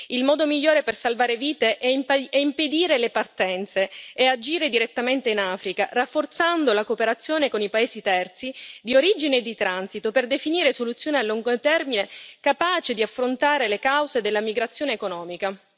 Il modo migliore per salvare vite è impedire le partenze e agire direttamente in Africa, rafforzando la cooperazione con i paesi terzi, di origine e di transito, per definire soluzioni a lungo termine, capaci di affrontare le cause della migrazione economica.